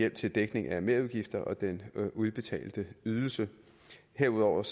hjælp til dækning af merudgifter og den udbetalte ydelse herudover